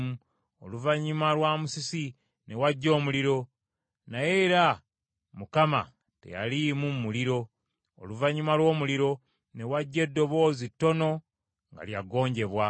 Oluvannyuma lwa musisi ne wajja omuliro, naye era Mukama teyaliimu mu muliro. Oluvannyuma lw’omuliro, ne wajja eddoboozi ttono nga lya ggonjebwa.